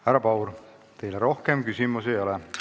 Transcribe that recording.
Härra Paur, teile rohkem küsimusi ei ole.